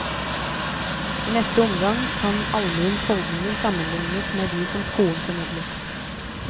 I neste omgang kan allmuens holdninger sammenlignes med de som skolen formidlet.